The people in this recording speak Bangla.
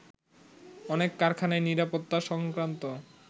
অনেক কারখানাই নিরাপত্তা সংক্রান্ত